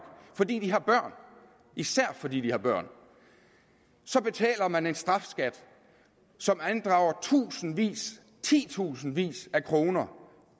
fordi de har børn især fordi de har børn så betaler man en strafskat som andrager tusindvis titusindvis af kroner